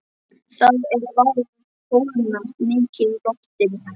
Það er farið að kólna mikið í lofti.